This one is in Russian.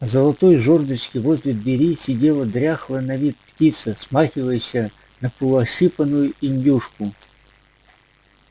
золотой жёрдочке возле двери сидела дряхлая на вид птица смахивающая на полуощипанную индюшку